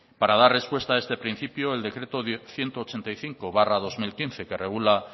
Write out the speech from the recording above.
para dar respuesta a este principio el decreto ciento ochenta y cinco barra dos mil quince que regula